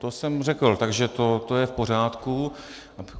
To jsem řekl, takže to je v pořádku.